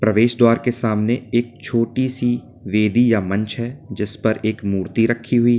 प्रवेश द्वार के सामने एक छोटी सी बेदी या मंच है जिस पर एक मूर्ति रखी हुई--